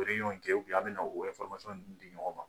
u kɛ an bɛ na o di ɲɔgon ma ?